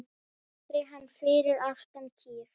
Aldrei hann fyrir aftan kýr